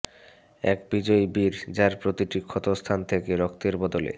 এক বিজয়ী বীর যার প্রতিটি ক্ষতস্থান থেকে রক্তের বদলে